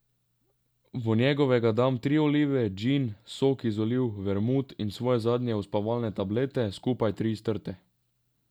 V njegovega dam tri olive, džin, sok iz oliv, vermut in svoje zadnje uspavalne tablete, skupaj tri, strte.